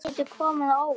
Það getur komið á óvart.